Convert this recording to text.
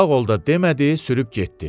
Sağ ol da demədi, sürüb getdi.